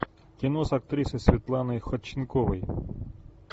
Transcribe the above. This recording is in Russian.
кино с актрисой светланой ходченковой